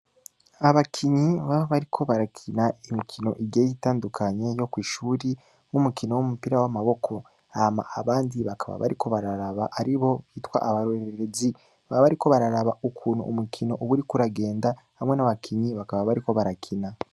Abakinyi baba bariko barakina imikino igiye itandukanye yo kwishuri nk'umukino w'umupira w'amaboko hama abandi bakaba bariko bararaba aribo bita abarorerezi , baba bariko bararaba ukuntu umukino uburiko uragenda hamwe n'abakinyi bakaba bariko barakina.